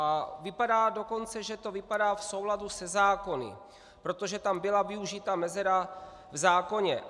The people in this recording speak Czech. A vypadá dokonce, že to vypadá v souladu se zákony, protože tam byla využita mezera v zákoně.